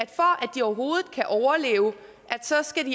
de overhovedet kan overleve så skal